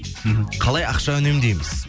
мхм қалай ақша үнемдейміз